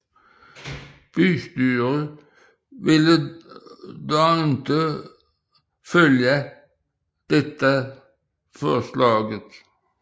Bystyret ønskede dog ikke at følge dette forslag